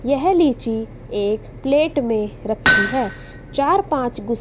यह लीची एक प्लेट में रखी है चार पांच गुस--